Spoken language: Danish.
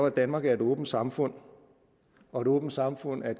at danmark er et åbent samfund og et åbent samfund er